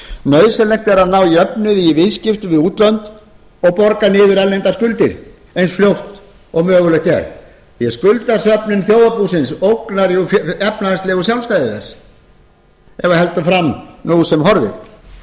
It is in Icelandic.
nauðsynlegt er að ná jöfnuði í viðskiptum við útlönd og borga niður erlendar skuldir eins fljótt og mögulegt er því skuldasöfnun þjóðarbúsins ógnar efnahagslegu sjálfstæði þess ef heldur fram nú sem horfir tryggja